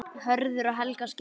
Hörður og Helga skildu.